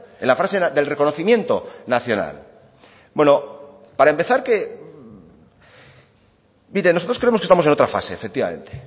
en la fase del reconocimiento nacional bueno para empezar nosotros creemos que estamos en otra fase efectivamente